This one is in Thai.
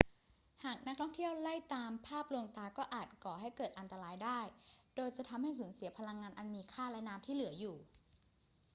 หากนักท่องเที่ยวไล่ตามภาพลวงตาก็อาจก่อให้เกิดอันตรายได้ โดยจะทำให้สูญเสียพลังงานอันมีค่าและน้ำที่เหลืออยู่